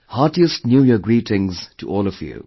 Heartiest New Year greetings to all of you